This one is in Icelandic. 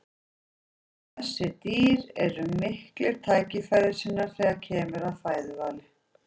þessi dýr eru miklir tækifærissinnar þegar kemur að fæðuvali